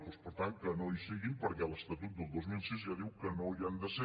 doncs per tant que no hi siguin perquè l’estatut del dos mil sis ja diu que no hi han de ser